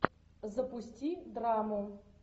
запусти драму